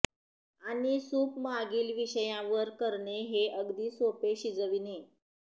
आणि सूप मागील विषयावर करणे हे अगदी सोपे शिजविणे